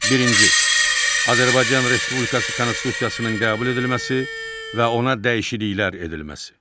Birinci, Azərbaycan Respublikası konstitusiyasının qəbul edilməsi və ona dəyişikliklər edilməsi.